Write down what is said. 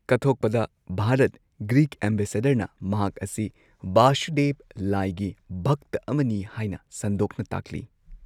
ꯀꯠꯊꯣꯛꯄꯗ Bharat Greek ꯑꯦꯝꯕꯦꯁꯦꯗꯔꯅ ꯃꯍꯥꯛ ꯑꯁꯤ ꯚꯁꯨꯗꯦꯚ, ꯂꯥꯏꯒꯤ ꯚꯛꯇ ꯑꯃꯅꯤ ꯍꯥꯏꯅ ꯁꯟꯗꯣꯛꯅ ꯇꯥꯛꯂꯤ꯫